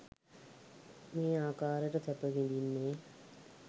මේ ආකාරයට සැප විඳින්නේ,